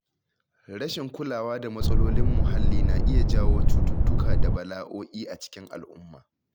Rashin kulawa da matsalolin muhalli na iya jawo cututtuka da bala’o’i a cikin al’umma.